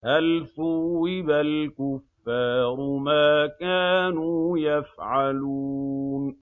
هَلْ ثُوِّبَ الْكُفَّارُ مَا كَانُوا يَفْعَلُونَ